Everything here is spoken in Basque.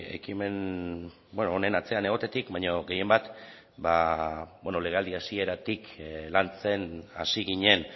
ekimen honen atzean egotetik baino gehienbat legealdi hasieratik lantzen hasi ginen